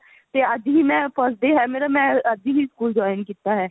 ਤੇ ਅੱਜ ਹੀ ਮੈਂ first day ਹੈ ਮੇਰਾ ਮੈਂ ਅੱਜ ਹੀ ਸਕੂਲ join ਕੀਤਾ ਹੈ